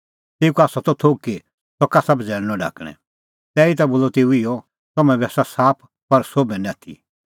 तेऊ का आसा त थोघ कि सह कसा बझ़ैल़णअ ढाकणैं तैही बोलअ तेऊ इहअ तम्हैं बी आसा साफ पर सोभै निं आथी